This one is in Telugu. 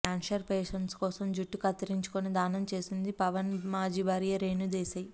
కాన్సర్ పేషేంట్స్ కోసం జుట్టు కత్తించుకొని దానం చేసింది పవన్ మాజీ భార్య రేణూ దేశాయ్